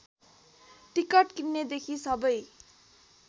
ticket किन्नेदेखि सबै